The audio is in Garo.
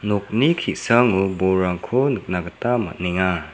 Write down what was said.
nokni ki·sango bolrangko nikna gita man·enga.